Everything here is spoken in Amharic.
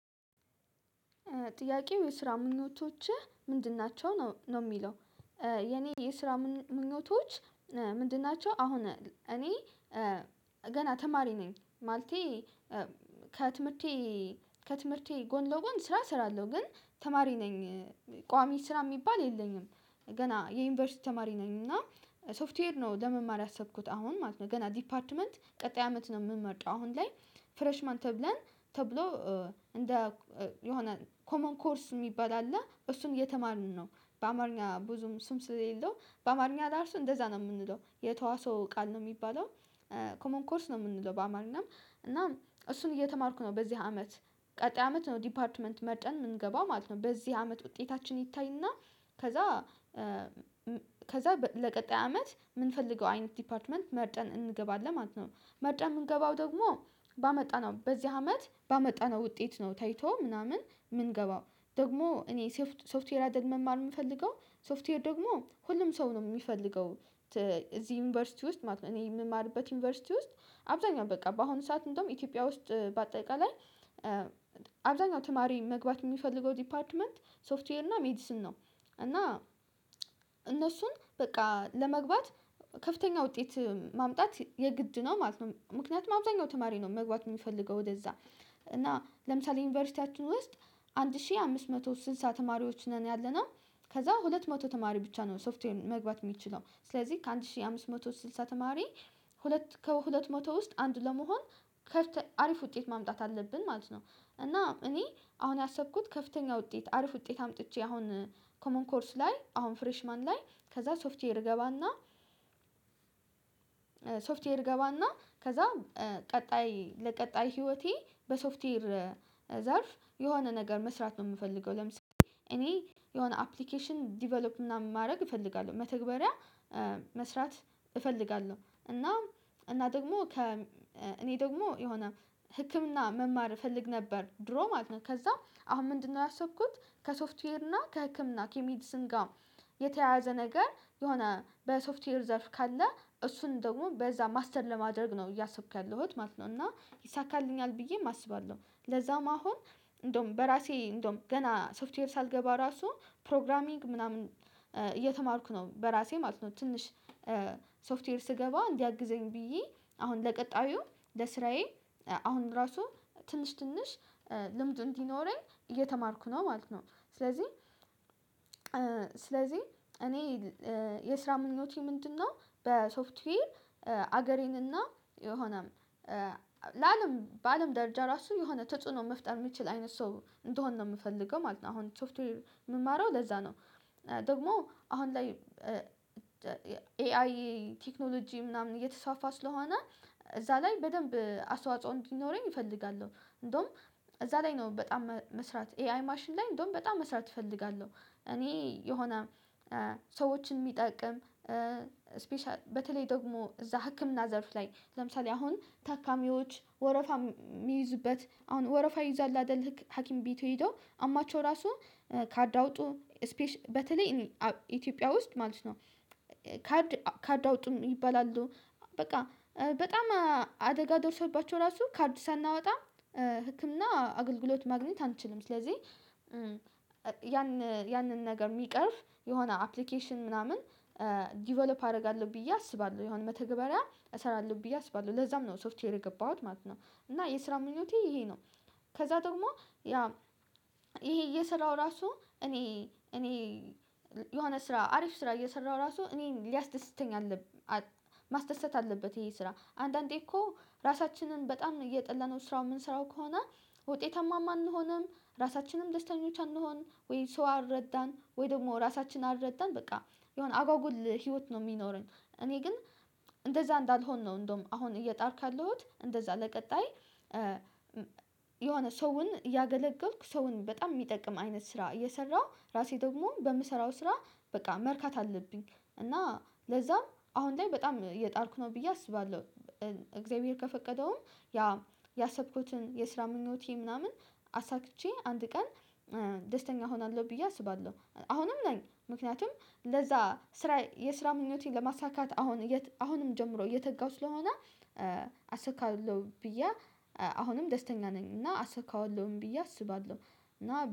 ጥያቄው የስራ ምኞቶችህ ምንድን ናቸው ነው ነው የሚለው? የኔ የስራ ምኞቶች ምንድን ናቸው? አሁን እኔ ገና ተማሪ ነኝ ማለቴ ከትምህርቴ ከትምህርቴ ጎን ለጎን ስራ እሰራለሁ ግን ተማሪ ነኝ ቋሚ ስራ የሚባል የለኝም። ገና የዩኒቨርሲቲ ተማሪ ነኝ እና ሶፍትዌር ነው ለመማር ያሰብኩት አሁን ማለት ነው ገና ዲፓርትመንት ቀጣይ አመት ነው የምመርጠው አሁን ላይ ፍሬሽማን ተብለን ተብሎ እንደ የሆነ ኮመን ኮርስ የሚባል አለ እሱን እየተማርን ነው። በአማርኛ ብዙም ስም ስሌለው በአማርኛ እራሱ እንደዛ ነው የምንለው የተዋሶ ቃል ነው የሚባለው ኮመን ኮርስ ነው የምንለው በአማርኛም እና እሱን እየተማርኩ ነው በዚህ አመት ቀጣይ አመት ነው ዲፓርትመንት መርጠን የምንገባው ማለት ነው። በዚህ አመት ውጤታችን ይታይና ከዛ ከዛ በ ለቀጣይ አመት የምንፈልገው አይነት ዲፓርትመንት መርጠን እንገባለን ማለት ነው። መርጠን የምንገባው ደግሞ ባመጣነው በዚህ አመት ባመጣነው ውጤት ነው ታይቶ ምናምን የምንገባው። ደግሞ እኔ ሶፍትዌር አደል መማር የምፈልገው ሶፍትዌር ደግሞ ሁሉም ሰው ነው የሚፈልገው ት እዚህ ዩኒቨርሲቲ ውስጥ ማለት ነው። እኔ የምማርበት ዩኒቨርሲቲ ውስጥ አብዛኛው በቃ በአሁኑ ሰዓት እንደውም ኢትዮጵያ ውስጥ በአጠቃላይ አብዛኛው ተማሪ መግባት የሚፈልገው ዲፓርትመንት ሶፍትዌር እና ሜዲስን ነው እና እነሱን በቃ ለመግባት ከፍተኛ ውጤት ማምጣት የግድ ነው ማለት ነው። ምክንያቱም አብዛኛው ተማሪ ነው መግባት የሚፈልገው ወደዛ እና ለምሳሌ ዩኒቨርሲቲያችን ውስጥ አንድ ሺህ አምስት መቶ ስልሳ ተማሪዎች ነን ያለነው። ከዛ ሁለት መቶ ተማሪ ብቻ ነው ሶፍትዌር መግባት የሚችለው ስለዚህ ከአንድ ሺህ አምስት መቶ ስልሳ ተማሪ ሁለት ከሁለት መቶ ውስጥ አንድ ለመሆን ከተ አሪፍ ውጤት ማምጣት አለብን ማለት ነው። እና እኔ አሁን ያሰብኩት ከፍተኛ ውጤት አሪፍ ውጤት አምጥቼ አሁን ኮመን ኮርስ ላይ አሁን ፍሬሽ ማን ላይ ከዛ ሶፍትዌር እገባና ሶፍትዌር እገባና ከዛ ቀጣይ ለቀጣይ ህይወቴ በሶፍትዌር ዘርፍ የሆነ ነገር መስራት ነው የምፈልገው። ለምሳሌ እኔ የሆነ አፕሊኬሽን ዲቨሎፕ ምናም ማድረግ እፈልጋለሁ መተግበሪያ መስራት እፈልጋለሁ እና እና ደግሞ ከ እኔ ደግሞ የሆነ ህክምና መማር እፈልግ ነበር ድሮ ማለት ነው። ከዛ አሁን ምንድነው ያሰብኩት ከሶፍትዌር እና ከህክምና ከሜድስን ጋር የተያያዘ ነገር የሆነ በሶፍትዌር ዘርፍ ካለ እሱን ደግሞ በዛ ማስተር ለማድረግ ነው እያሰብክ ያለሁት ማለት ነው። እና ይሳካልኛል ብዬም አስባለሁ ለዛውም አሁን እንደውም በራሴ እንደውም ገና ሶፍትዌር ሳልገባ ራሱ ፕሮግራሚንግ ምናምን እየተማርኩ ነው በራሴ ማለት ነው ትንሽ ሶፍትዌር ስገባ እንዲያግዘኝ ብዬ አሁን ለቀጣዩ ለስራዬ አሁን ራሱ ትንሽ ትንሽ ልምዱ እንዲኖረኝ እየተማርኩ ነው ማለት ነው። ስለዚህ ስለዚህ እኔ የስራ ምኞቴ ምንድነው? በሶፍትዌር አገሬንና የሆነም ለአለም በአለም ደረጃ ራሱ የሆነ ተጽዕኖ መፍጠር የሚችል አይነት ሰው እንደሆን ነው የምፈልገው ማለት ነው። አሁን ሶፍትዌር የምማረው ለዛ ነው ደግሞ አሁን ላይ ኤአይ ቴክኖሎጂ ምናምን እየተስፋፋ ስለሆነ እዛ ላይ በደንብ አስዋጽኦ እንዲኖረኝ እፈልጋለሁ። እንደውም እዛ ላይ ነው በጣም መስራት ኤአይ ማሽን ላይ እንደውም በጣም መስራት እፈልጋለሁ እኔ የሆነ ሰዎችን የሚጠቅም ስፔሻል በተለይ ደግሞ እዛ ህክምና ዘርፍ ላይ ለምሳሌ አሁን ታካሚዎች ወረፋ ሚ የሚይዙበት አሁን ወረፋ ይይዛሉ አይደለም ህክ ሀኪም ቤቱ ሄዶ አሞአቸው ራሱ ካርድ አውጡ ስፔሽ በተለይ ኢትዮጵያ ውስጥ ማለት ነው ካርድ ካርድ አውጥም ይባላሉ በቃ በጣም አደጋ ደርሶባቸው ራሱ ካርድ ሳናወጣም ህክምና አገልግሎት ማግኘት አንችልም ስለዚህ ያን ያንን ነገር የሚቀርፍ የሆነ አፕሊኬሽን ምናምን ዲቨሎፕ አደረጋለሁ ብዬ አስባለሁ የሆነ መተግበሪያ እሰራለሁ ብዬ አስባለሁ ለዛም ነው ሶፍትዌር የገባሁት ማለት ነው። እና የስራው ምኞቴ ይሄ ነው። ከዛ ደግሞ ያ ይሄ እየሰራሁ ራሱ እኔ እኔ የሆነ ስራ አሪፍ ስራ እየሰራሁ ራሱ እኔን ሊያስደስተኝ አለብ አል ማስደሰት አለበት ይሄ ስራ አንዳንዴ እኮ ራሳችንን በጣም እየጠላነው ስራው የምንሰራው ከሆነ ውጤታማም አንሆንም ራሳችንም ደስተኞች አንሆን ወይ ሰው አልረዳን ወይ ደግሞ ራሳችን አልረዳን በቃ የሆነ አጓጉል ህይወት ነው የሚኖረን። እኔ ግን እንደዛ እንዳልሆን ነው እንደውም አሁን እየጣርኩ ያለሁት እንደዛ ለቀጣይ የሆነ ሰውን እያገለገልኩ ሰውን በጣም የሚጠቅም አይነት ስራ እየሰራሁ ራሴ ደግሞ በምሰራው ስራ በቃ መርካት አለብኝ። እና ለዛም አሁን ላይ በጣም እየጣርኩ ነው ብዬ አስባለሁ እግዚአብሔር ከፈቀደውም ያ ያሰብኩትን የስራ ምኞቴ ምናምን አሳክቼ አንድ ቀን ደስተኛ እሆናለሁ ብዬ አስባለሁ። አሁንም ነኝ ምክንያቱም ለዛ ስራ የስራ ምኞቴን ለማሳካት አሁን አሁንም ጀምሮ እየተጋው ስለሆነ አሳካለሁ ብዬ አሁንም ደስተኛ ነኝ እና አሳካዋለሁም ብዬ አስባለሁ። እና